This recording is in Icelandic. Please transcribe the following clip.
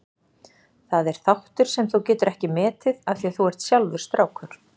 Það er þáttur sem þú getur ekki metið af því að þú ert sjálfur strákur.